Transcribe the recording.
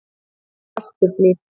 Vesturhlíð